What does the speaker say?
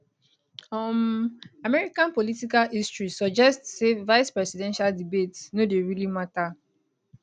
um american political history suggest say vicepresidential debates no dey really matter